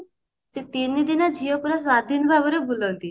ସେ ତିନିଦିନ ଝିଅ ପୁରା ସ୍ଵାଧୀନ ଭାବରେ ବୁଲନ୍ତି